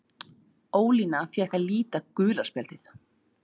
Ólína fékk að líta gula spjaldið.